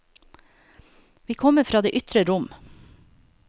Vi kommer fra det ytre rom.